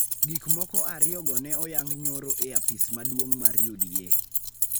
Gik moko ariyogo ne oyango nyoro e apis maduong� mar UDA,